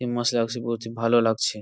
এই পড়ছি ভালো লাগছে